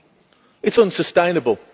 It is unsustainable.